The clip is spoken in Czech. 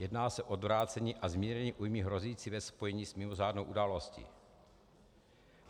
Jedná se o odvrácení a zmírnění újmy hrozící ve spojení s mimořádnou událostí.